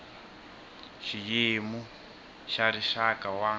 hi xiyimo xa rixaka wa